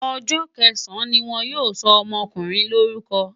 Ọjọ́ kẹsàn-án ni wọ́n yóò sọ ọmọkùnrin lórúkọ.